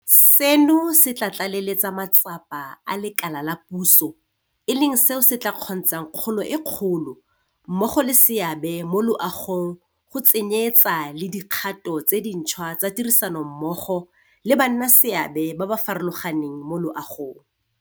Seno se tla tlaleletsa matsapa a lekala la puso, e leng seo se tla kgontshang kgolo e kgolo mmogo le seabe mo loagong go tsenyeetsa le dikgato tse dintšhwa tsa tirisanommogo le bannaleseabe ba ba farologaneng mo loagong.